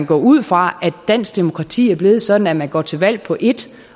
går ud fra at dansk demokrati er blevet sådan at man går til valg på ét